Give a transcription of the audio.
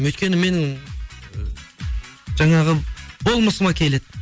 өйткені менің жаңағы болмысыма келеді